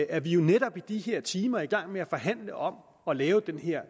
er vi jo netop i de her timer i gang med at forhandle om at lave den her